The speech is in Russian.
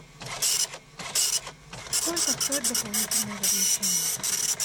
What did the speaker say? сколько стоит дополнительное размещение